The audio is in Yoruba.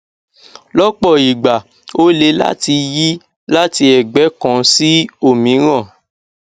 lọpọ ìgbà ó le láti yí láti ẹgbẹ kan sí òmíràn